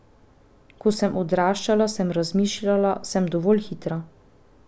Ko sem odraščala, sem razmišljala, sem dovolj hitra.